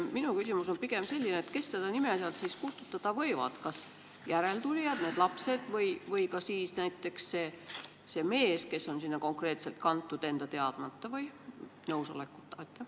Minu küsimus on pigem selline, et kes seda nime sealt siis kustutada võivad – kas järeltulijad, lapsed, või ka näiteks need mehed, kes on sinna konkreetselt enda teadmata või nõusolekuta kantud.